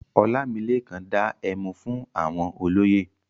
Ọlámilékan dá ẹmu fún àwọn olóyè.